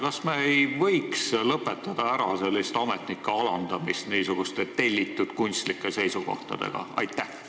Kas me ei võiks lõpetada ametnike sellise alandamise niisuguste tellitud kunstlike seisukohtadega?